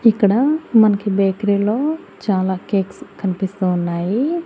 ఇక్కడ మన్కి బేక్రీ లో చాలా కేక్స్ కన్పిస్తూ ఉన్నాయి.